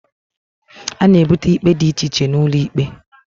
A na ebute ikpe dị iche iche n'ulo ikpe